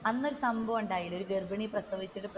അന്ന് ഒരു സംഭവം ഉണ്ടായില്ല ഗർഭിണി പ്രസവിച്ചിട്ട്